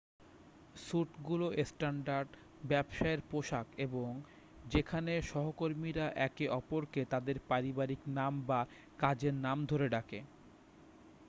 স্যুটগুলো standard ব্যবসায়ের পোশাক এবং যেখানে সহকর্মীরা একে অপরকে তাদের পারিবারিক নাম বা কাজের নাম ধরে ডাকে